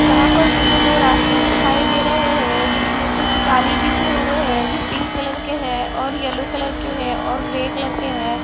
यहां पर मुझे दो रास्ते दिखाई दे रहे है जिसमें कुछ ताली पीछे हुए है जो पिंक कलर के है और येलो कलर के है और ग्रे कलर के है।